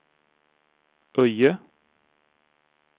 Öje